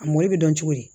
A mɔli bɛ dɔn cogo di